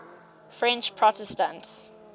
french protestants